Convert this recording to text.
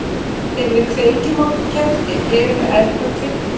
Þegar við kveikjum á kerti berum við eld að kveiknum.